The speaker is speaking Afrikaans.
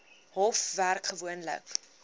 hof werk gewoonlik